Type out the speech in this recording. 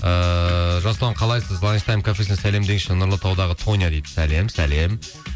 ыыы жасұлан қалайсыз ланштайм кафесіне сәлем деңізші нұрлытаудағы тоня дейді сәлем сәлем